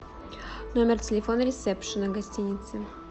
номер телефона ресепшена гостиницы